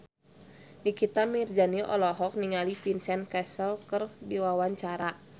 Nikita Mirzani olohok ningali Vincent Cassel keur diwawancara